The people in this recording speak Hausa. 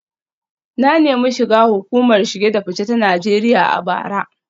Na nemi shiga hukumar shige da fice ta Najeriya a bara